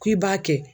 K'i b'a kɛ